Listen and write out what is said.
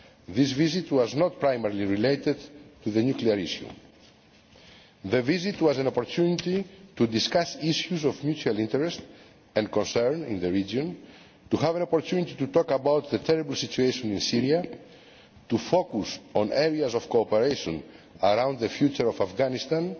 This visit was not primarily related to the nuclear issue. The visit was an opportunity to discuss issues of mutual interest and concern in the region, to have an opportunity to talk about the terrible situation in Syria, to focus on areas of cooperation around the future of Afghanistan